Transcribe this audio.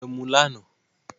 Wọ́n mu emu lánàá